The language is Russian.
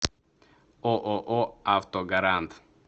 ооо автогарант